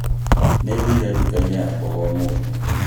nĩ thiire duka ya mboga ũmũthĩ